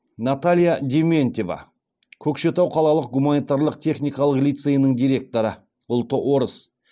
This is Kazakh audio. наталья дементьева көкшетау қалалық гуманитарлық техникалық лицейінің директоры ұлты орыс